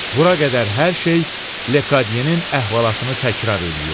Bura qədər hər şey Lekadiyenin əhvalatını təkrar eləyir.